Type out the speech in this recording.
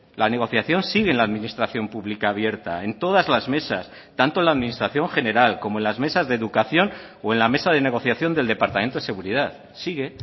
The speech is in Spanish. la negociación sigue en la administración pública abierta en todas las mesas tanto en la administración general como en las mesas de educación o en la mesa de negociación del departamento de seguridad sigue